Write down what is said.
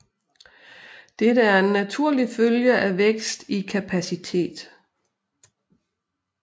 Dette er en naturlig følge af vækst i kapacitet